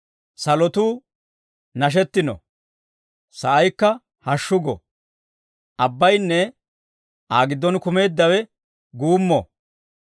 Salotuu nashetino; sa'aykka hashshu go; abbayinne Aa giddon kumeeddawe guummo.